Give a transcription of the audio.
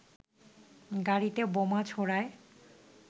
গাড়িতে বোমা ছোড়ায়